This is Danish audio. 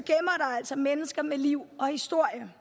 altså mennesker med liv og historie